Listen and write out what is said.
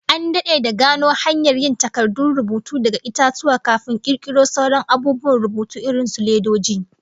An dade da gano hanyar yin takardun rubutu daga itatuwa, kafin kirkiro sauran abubuwan rubutu irin su ledoji